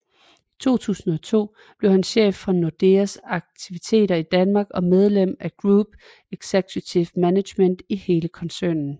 I 2002 blev han chef for Nordeas aktiviteter i Danmark og medlem af Group Executive Management i hele koncernen